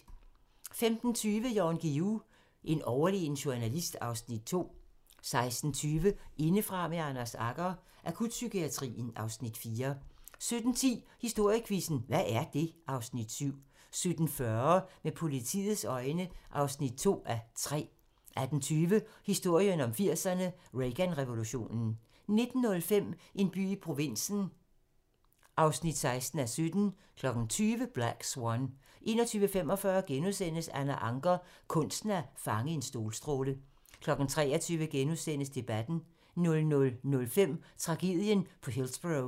15:20: Jan Guillou - en overlegen journalist (Afs. 2) 16:20: Indefra med Anders Agger - Akutpsykiatrien (Afs. 4) 17:10: Historiequizzen: Hvad er det? (Afs. 7) 17:40: Med politiets øjne (2:3) 18:20: Historien om 80'erne: Reagan-revolutionen 19:05: En by i provinsen (16:17) 20:00: Black Swan 21:45: Anna Ancher - kunsten at fange en solstråle * 23:00: Debatten * 00:05: Tragedien på Hillsborough